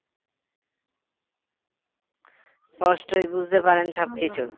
স্পষ্টই বুঝতে পারেন সবকিছু